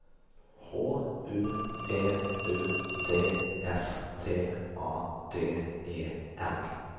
H U V U D S T A D E N